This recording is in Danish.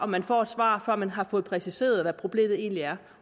at man får et svar før man har fået præciseret hvad problemet egentlig er